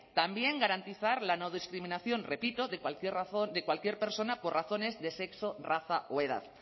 también garantizar la no discriminación repito de cualquier persona por razones de sexo raza o edad